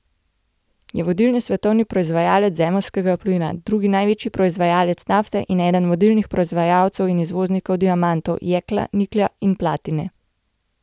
Je vodilni svetovni proizvajalec zemeljskega plina, drugi največji proizvajalec nafte in eden vodilnih proizvajalcev in izvoznikov diamantov, jekla, niklja in platine.